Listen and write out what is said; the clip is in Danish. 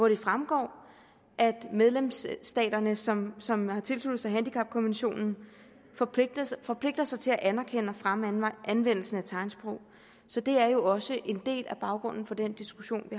det fremgår at medlemsstaterne som som har tilsluttet sig handicapkonventionen forpligter sig forpligter sig til at anerkende og fremme anvendelsen af tegnsprog så det er jo også en del af baggrunden for den diskussion vi